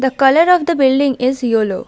The colour of the building is yellow.